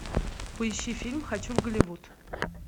поищи фильм хочу в голливуд